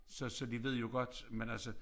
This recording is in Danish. Så så de ved jo godt men altså